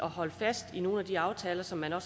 holde fast i nogle af de aftaler som man har